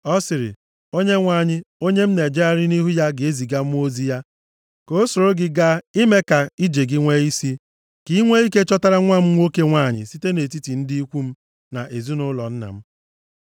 “Ọ sịrị, ‘ Onyenwe anyị, onye m na-ejegharị nʼihu ya, ga-eziga mmụọ ozi ya ka o soro gị gaa ime ka ije gị nwee isi, ka i nwee ike chọtara nwa m nwoke nwanyị site nʼetiti ndị ikwu m na ezinaụlọ nna m.